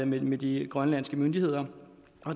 med med de grønlandske myndigheder